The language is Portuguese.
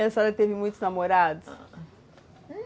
E a senhora teve muitos namorados?